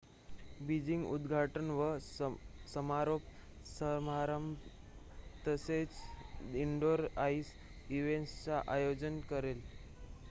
Beijing उद्घाटन व समारोप समारंभ तसेच इनडोर आईस इव्हेंट्सचे आयोजन करेल